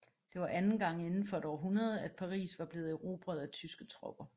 Det var anden gang indenfor et århundrede at Paris var blevet erobret af tyske tropper